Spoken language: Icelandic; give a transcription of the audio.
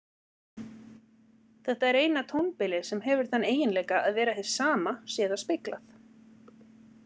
Þetta er eina tónbilið sem hefur þann eiginleika að vera hið sama sé það speglað.